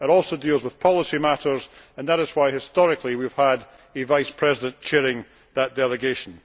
It also deals with policy matters and that is why historically, we have had a vice president chairing the delegation.